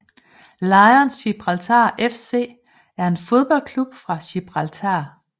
Lions Gibraltar FC er en fodboldklub fra Gibraltar